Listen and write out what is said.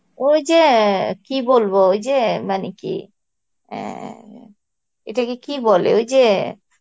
ওই যে কি বলবো ওই যে মানে কি অ্যাঁ এটাকে কি বলে ওই যে